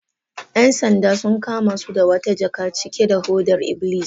‘Yan sandan sun kama su da wata jaka cike da hodar iblis.